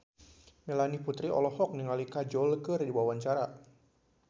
Melanie Putri olohok ningali Kajol keur diwawancara